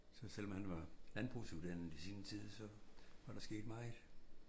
Så selvom han var landbrugsuddannet i sin tid så var der sket meget